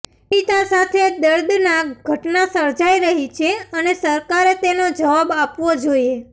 પીડિતા સાથે દર્દનાક ઘટના સર્જાઇ રહી છે અને સરકારે તેનો જવાબ આપવો જોઇએ